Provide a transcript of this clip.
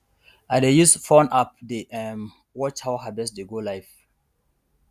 i dey use phone app dey um watch how harvest dey go live